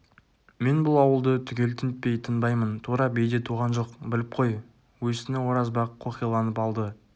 мен бұл ауылды түгел тінтпей тынбаймын тура биде туған жоқ біліп қой өсіні оразбақ қоқиланып алды